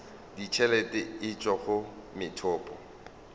ditšhelete e tšwa go methopo